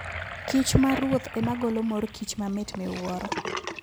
kich ma ruoth ema golo mor kich ma mit miwuoro.